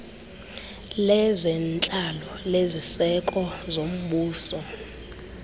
lezentlalo leziseko zombuso